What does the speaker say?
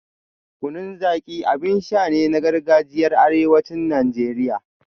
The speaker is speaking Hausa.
Kunun Zaki abin sha ne na gargajiyar arewacin Najeriya